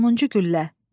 Sonuncu güllə.